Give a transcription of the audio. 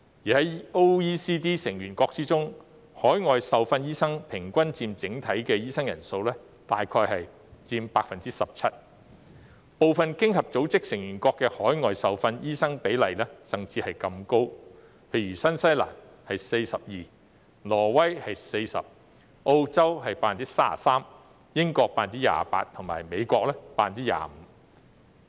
在 OECD 成員國中，海外受訓醫生平均佔整體醫生人數約 17%， 部分經合組織成員國的海外受訓醫生比例甚至更高，例如新西蘭是 42%， 挪威是 40%， 澳洲是 33%， 英國是 28% 及美國是 25%。